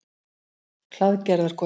Hlaðgerðarkoti